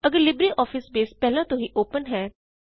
ਅਗਰ LibreOffice base ਪਹਿਲਾਂ ਤੋਂ ਹੀ ਓਪਨ ਹੈ